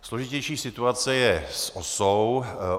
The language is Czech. Složitější situace je s OSA.